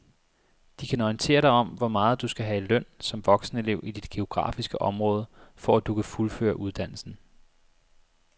De kan orientere dig om hvor meget du skal have i løn som voksenelev i dit geografiske område, for at du kan fuldføre uddannelsen.